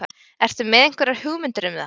Ertu með einhverjar hugmyndir um það?